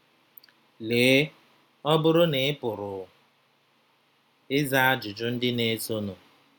Lee, ọ bụrụ na ị pụrụ ịza ajụjụ ndị na-esonụ: